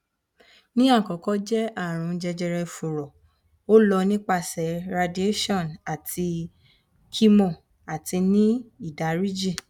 ni akọkọ jẹ arun jejere furo o lọ nipasẹ radiation ati chemo ati ni idariji